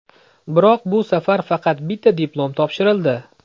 Biroq bu safar faqat bitta diplom topshirildi.